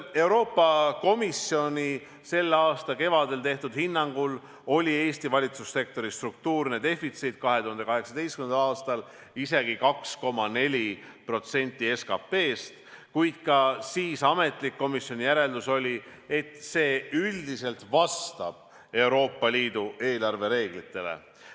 Euroopa Komisjoni selle aasta kevade hinnangul oli Eesti valitsussektori struktuurne defitsiit 2018. aastal isegi 2,4% SKP-st, kuid ka siis oli komisjoni ametlik järeldus, et see üldiselt vastab Euroopa Liidu eelarvereeglitele.